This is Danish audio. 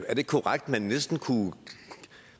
ikke korrekt at man næsten kunne